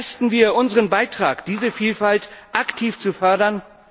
Leisten wir unseren Beitrag, diese Vielfalt aktiv zu fördern?